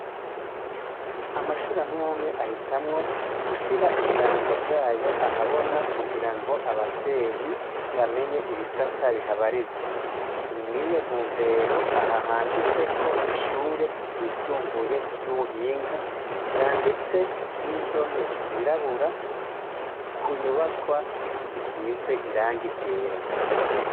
Amashure amw'amwe ahitamwo gushira ibirango vyayo ahabona kugira ngo abavyeyi bamenye ibisata bihabarizwa. Ni mw'iyo ntumbero aha handitse ko "ishure ryisumbuye ry'ubuhinga" vyanditse n'indome zirabura ku nyubakwa isize irangi ryera.